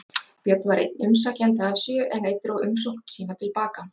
Björn var einn umsækjenda af sjö, en einn dró umsókn sína til baka.